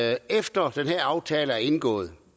at efter at den her aftale er indgået